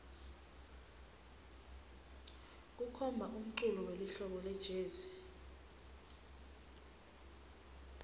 kukhona umculo welihlobo lejezi